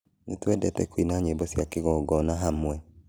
Nĩtũendete kũina nyĩmbo cia kĩgongona hamwe